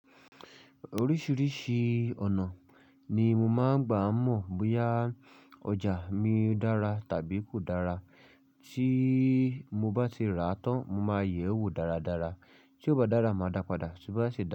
Oríṣiríṣi ọ̀nà ni mo máa ń gbà mọ̀ bóyá ọjà mi dára tàbí kò dára. Tí mo bá ti rà á tán, mo máa yẹ̀ ẹ́ wò dáradára. Tí ó bá dára, màá dáa padà, tí ó bá ṣe.